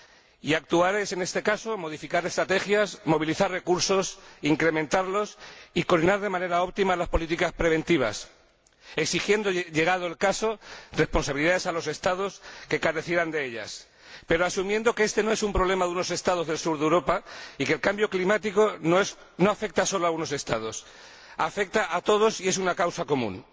y actuar es, en este caso, modificar estrategias, movilizar recursos, incrementarlos y coronar de manera óptima las políticas preventivas, exigiendo, llegado el caso, responsabilidades a los Estados que carecieran de ellas, pero asumiendo que éste no es un problema de unos Estados del sur de Europa y que el cambio climático no afecta sólo a unos Estados, afecta a todos y es una causa común.